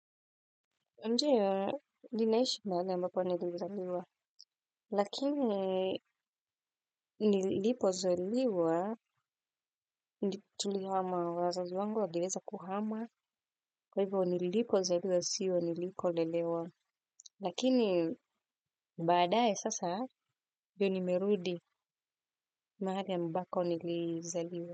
Ndio, ninaishi mahali ambapo nilizaliwa, lakini nilipo zaliwa, tulihama wazazi wangu waliweza kuhama kwa hivyo niliko zaliwa sio niliko lelewa, lakini badae sasa, ndio nimerudi mahali ambako nilizaliwa.